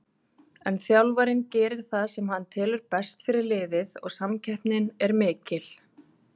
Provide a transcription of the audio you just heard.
En þjálfarinn gerir það sem hann telur best fyrir liðið og samkeppnin er mikil.